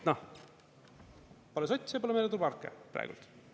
Noh, pole sotse, pole meretuuleparke praegu.